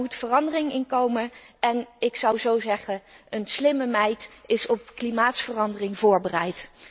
Daar moet verandering in komen en ik zou zeggen een slimme meid is op klimaatverandering voorbereid!